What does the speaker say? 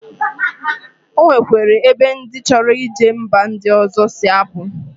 Onwekwere ebe ndi choro ije mba ndi ozo si apu